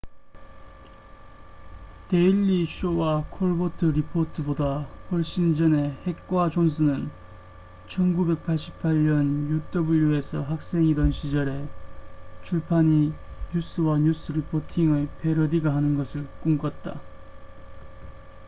데일리 쇼와 콜버트 리포트보다 훨씬 전에 헥과 존슨은 1988년 uw에서 학생이던 시절에 출판이 뉴스와 뉴스 리포팅의 패러디가 하는 것을 꿈꿨다